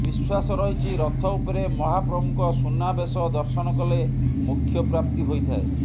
ବିଶ୍ୱାସ ରହିଛି ରଥ ଉପରେ ମହାପ୍ରଭୁଙ୍କ ସୁନା ବେଶ ଦର୍ଶନ କଲେ ମୋକ୍ଷ ପ୍ରାପ୍ତି ହୋଇଥାଏ